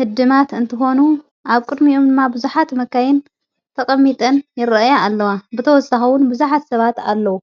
ሕድማት እንተኾኑ ኣብ ቅድሚኡም እማ ብዙኃት መካይን ተቐሚጠን ይርአያ ኣለዋ ብተወሳኸዉን ብዙኃት ሰባት ኣለዉ።